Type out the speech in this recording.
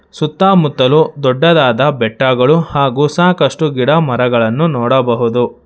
ಸುತ್ತ ಮುತ್ತಲು ದೊಡ್ಡದಾದ ಬೆಟ್ಟಗಳು ಹಾಗು ಸಾಕಷ್ಟು ಗಿಡಮರಗಳನ್ನು ನೋಡಬಹುದು.